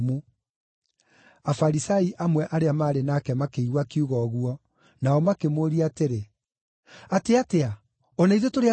Afarisai amwe arĩa maarĩ nake makĩigua akiuga ũguo, nao makĩmũũria atĩrĩ, “Atĩ atĩa? O na ithuĩ tũrĩ atumumu?”